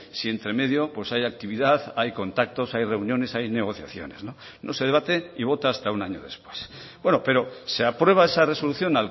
si entre medio hay actividad hay contactos hay reuniones hay negociaciones no se debate y vota hasta un año después pero se aprueba esa resolución